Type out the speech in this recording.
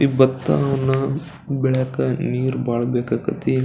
ಈ ಭತ್ತವನ್ನ ಬೆಳೆಯಕ ನೀರ್ ಬಹಳ ಬೆಕಾಕತಿ.